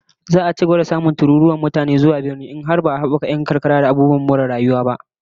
Za'a ci gaba da samun tururuwar mutane zuwa birane in dai ba'a habaka yankunan karkara ba da abubuwan more rayuwa